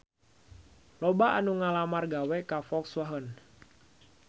Loba anu ngalamar gawe ka Volkswagen